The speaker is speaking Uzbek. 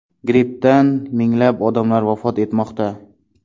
Grippdan minglab odamlar vafot etmoqda.